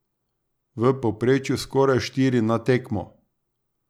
V povprečju skoraj štiri na tekmo.